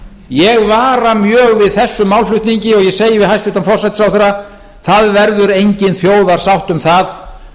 ég vara mjög við þessum málflutningi og ég segi við hæstvirtan forsætisráðherra það verður engin þjóðarsátt um það